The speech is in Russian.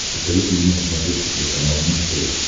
посоветуй мне на смотрешке телеканал муз тв